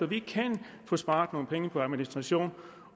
vi kan spare på administration